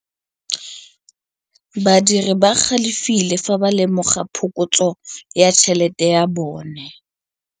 Badiri ba galefile fa ba lemoga phokotsô ya tšhelête ya bone.